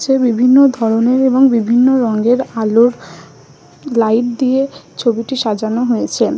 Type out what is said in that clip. বিভিন্ন ধরণের এবং বিভিন্ন রং এর আলো লাইট দিয়ে ছবিটি সাজানো হয়েছে ।